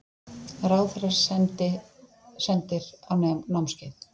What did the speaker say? Ráðherrar sendir á námskeið